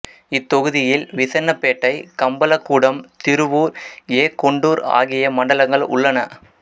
இத்தொகுதியில் விசன்னபேட்டை கம்பலகூடம் திருவூர் ஏ கொண்டூர் ஆகிய மண்டலங்கள் உள்ளன